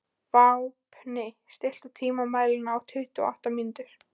Vápni, stilltu tímamælinn á tuttugu og átta mínútur.